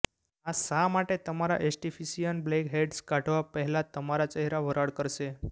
આ શા માટે તમારા એસ્ટિફિસિઅન બ્લેકહેડ્સ કાઢવા પહેલાં તમારા ચહેરા વરાળ કરશે